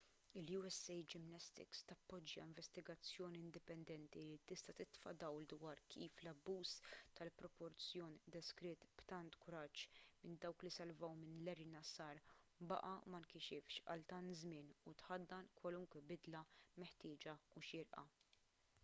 il-usa gymnastics tappoġġja investigazzjoni indipendenti li tista' titfa' dawl dwar kif l-abbuż tal-proporzjon deskritt b'tant kuraġġ minn dawk li salvaw minn larry nassar baqa' ma nkixifx għal tant żmien u tħaddan kwalunkwe bidla meħtieġa u xierqa